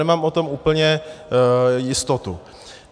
Nemám o tom úplně jistotu.